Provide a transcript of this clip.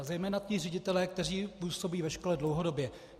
A zejména ti ředitelé, kteří působí ve škole dlouhodobě.